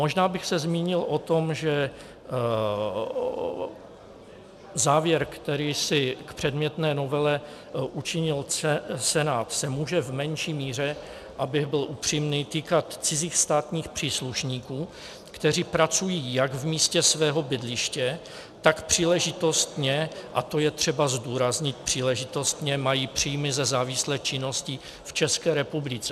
Možná bych se zmínil o tom, že závěr, který si k předmětné novele učinil Senát, se může v menší míře, abych byl upřímný, týkat cizích státních příslušníků, kteří pracují jak v místě svého bydliště, tak příležitostně - a to je třeba zdůraznit - příležitostně mají příjmy ze závislé činnosti v České republice.